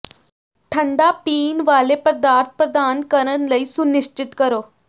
ਠੰਡਾ ਪੀਣ ਵਾਲੇ ਪਦਾਰਥ ਪ੍ਰਦਾਨ ਕਰਨ ਲਈ ਸੁਨਿਸ਼ਚਿਤ ਕਰੋ